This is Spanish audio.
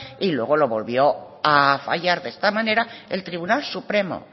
y luego lo volvió a fallar de esta manera el tribunal supremo